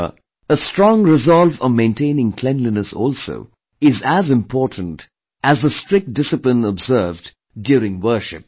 Here, a strong resolve of maintaining cleanliness also is as important as the strict discipline observed during worship